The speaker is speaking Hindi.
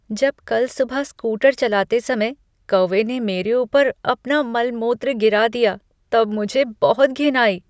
जब कल सुबह स्कूटर चलाते समय कौवे ने मेरे ऊपर अपना मलमूत्र गिरा दिया तब मुझे बहुत घिन आई।